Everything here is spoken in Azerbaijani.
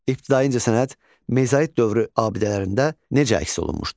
İbtidai incəsənət mezolit dövrü abidələrində necə əks olunmuşdur?